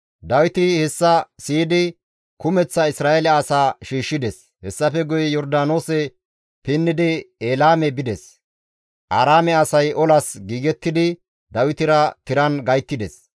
Dawiti hessa siyidi kumeththa Isra7eele asaa shiishshides; hessafe guye Yordaanoose pinnidi Elaame bides; Aaraame asay olas giigettidi Dawitera tiran gayttides.